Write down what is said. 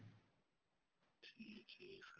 ਠੀਕ ਹੈ sir